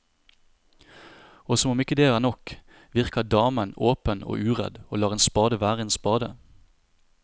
Og som om ikke det er nok, virker damen åpen og uredd og lar en spade være en spade.